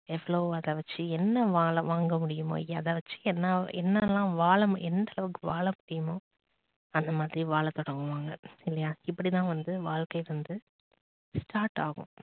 எவ்ளோ அத வச்சு என்ன வாங்க முடியுமோ அதை வச்சு என்ன எல்லாம் எந்த அளவுக்கு வாழ முடியுமோ அந்த மாதிரி வாழ தொடங்குவாங்க இல்லையா இப்படித்தான் வந்து வாழ்க்கை வந்து start ஆகும்